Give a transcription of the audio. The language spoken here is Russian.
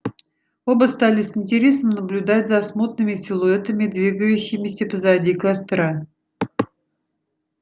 оба стали с интересом наблюдать за смутными силуэтами двигающимися позади костра